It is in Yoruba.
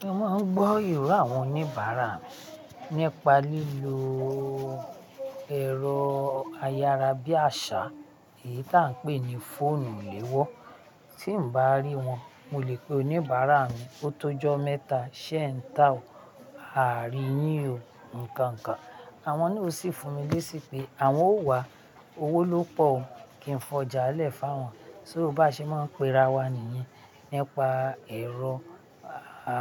Mo máa ń gbọ́ ìró àwọn oníbàárà mi nípa lílo ẹ̀rọ ayára bí àṣá, èyí tí à ń pè ní fóònù léwọ́. Tí n bá rí wọn, mo lè pe oníbàárà mi, "O tó jọ́ mẹ́ta, ṣé e ń ta ò," "A àrí yín o," nkàńkàn. Àwọn náà o sì fún mi lẹ́sì pé, "Àwọn ó wá, owó ló pọ̀ o." kí n fọjà lẹ́fàá awọn. Sọ́ o bá ṣe máa ń pera wa nìyẹn nípa ẹ̀rọ